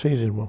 Seis irmãos